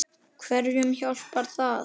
Hverjum hjálpar það?